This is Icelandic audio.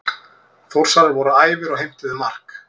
Þórsarar voru æfir og heimtuðu mark.